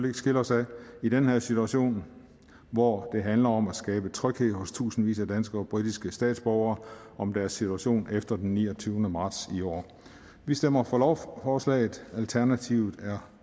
ikke skille os ad i den her situation hvor det handler om at skabe tryghed hos tusindvis af danske og britiske statsborgere om deres situation efter den niogtyvende marts i år vi stemmer for lovforslaget alternativet er